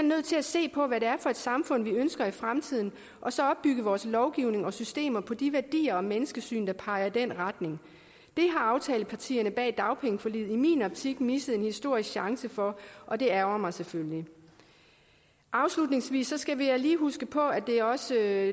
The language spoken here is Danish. nødt til at se på hvad det er for et samfund vi ønsker i fremtiden og så opbygge vores lovgivning og systemer på de værdier og menneskesyn der peger i den retning det har aftalepartierne bag dagpengeforliget i min optik misset en historisk chance for og det ærgrer mig selvfølgelig afslutningsvis skal jeg lige huske på at det også er